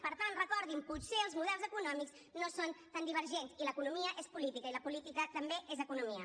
per tant recordin potser els models econòmics no són tan divergents i l’economia és política i la política també és economia